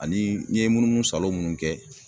Ani n ye munumunusalon munnu kɛ